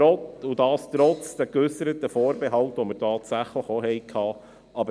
Dies trotz der geäusserten Vorbehalte, die wir tatsächlich auch hatten.